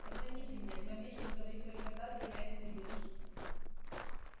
позвоните мне два месяца говорить только с дадли я этого не вынесу